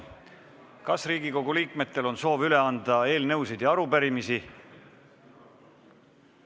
Kas Riigikogu liikmetel on soovi üle anda eelnõusid ja arupärimisi?